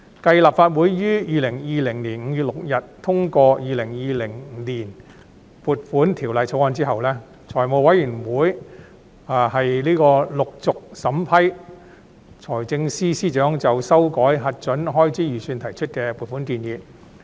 繼立法會於2020年5月6日通過《2020年撥款條例草案》後，財務委員會陸續審批財政司司長就修改核准開支預算提出的撥款建議。